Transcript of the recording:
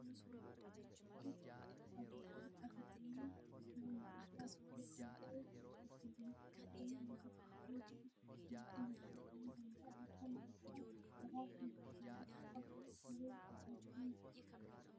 Nyaata mana nyaataatti ajajajannee nyaannu keessaa tokko kan ta'e firfiriin wantoota hedduu itti makuun hojjatamuu danda'a. Isaan keessaa muraasni buddeena qofaa cicciree kan hojjannu